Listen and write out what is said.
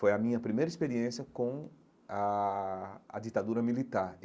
Foi a minha primeira experiência com a a ditadura militar.